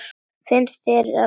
Finnst þér ég vera gömul?